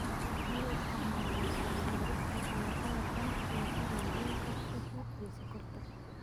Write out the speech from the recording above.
Waxa loo isticmaalaa soo saarista dalagyada ganacsiga sida bunka, shaaha, iyo sonkorta.